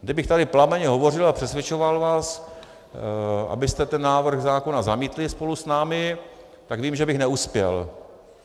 Kdybych tady plamenně hovořil a přesvědčoval vás, abyste ten návrh zákona zamítli spolu s námi, tak vím, že bych neuspěl.